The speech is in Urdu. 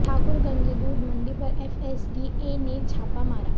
ٹھاکر گنج دودھ منڈی پر ایف ایس ڈی اے نے چھاپہ مارا